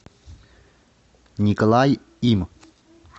николай им